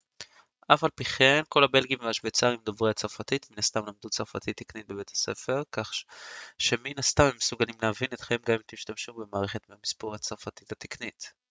אף על פי כן כל הבלגים והשווייצרים דוברי הצרפתית מן הסתם למדו צרפתית תקנית בבית הספר כך שמן הסתם הם מסוגלים להבין אתכם גם אם תשתמשו במערכת המספור הצרפתית התקנית